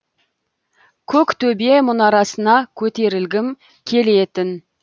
көк төбе мұнарасына көтерілгім келетін